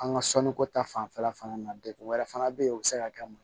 An ka sɔnniko ta fanfɛla fana na degun wɛrɛ fana be yen o be se ka kɛ mun ye